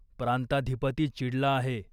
प्रांताधिपती चिडला आहे.